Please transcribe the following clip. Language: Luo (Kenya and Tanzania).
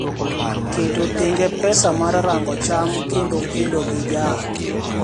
keto tenge pesa mar rango cham kendo kedo gi jaath